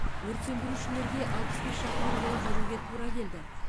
өрт сөндірушілерге алпыс бес шақырым жол жүруге тура келді